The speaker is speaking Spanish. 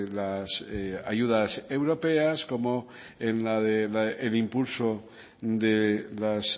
las ayudas europeas como en el impulso de las